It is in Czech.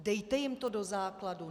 Dejte jim to do základu.